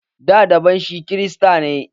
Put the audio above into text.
Da, baban shi kirista ne.